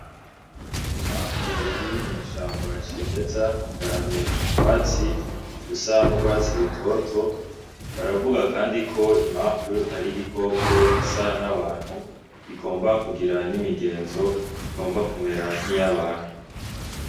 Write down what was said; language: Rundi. Imanfu iri mw’ishamba cimeza igaramye mu twatsi dusa n’urwatsi rutoto , baravuga kandi ko imanfu ari Igikoko gisa n’abantu kigomba kugira n’imigenzo igomba kumera nk’iy’abantu.